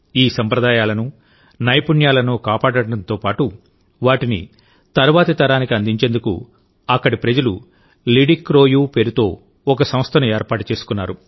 ఈ సంప్రదాయాలను నైపుణ్యాలను కాపాడడంతో పాటు వాటిని తర్వాతి తరానికి అందించేందుకు అక్కడి ప్రజలు లిడిక్రోయు పేరుతో ఓ సంస్థను ఏర్పాటు చేసుకున్నారు